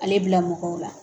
Ale bila mɔgɔw la